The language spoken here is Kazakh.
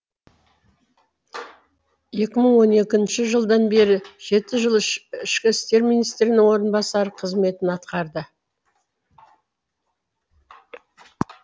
екі мың он екінші жылдан бері жеті жыл ішкі істер министрінің орынбасары қызметін атқарды